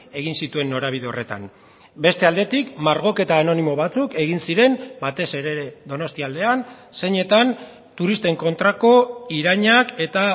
egin zituen norabide horretan beste aldetik margoketa anonimo batzuk egin ziren batez ere donostia aldean zeinetan turisten kontrako irainak eta